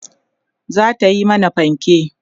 zata Yi mana fanke